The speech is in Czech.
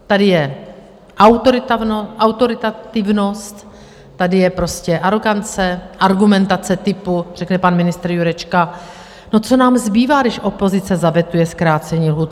Tady je autoritativnost, tady je prostě arogance, argumentace typu - řekne pan ministr Jurečka: No, co nám zbývá, když opozice zavetuje zkrácení lhůt?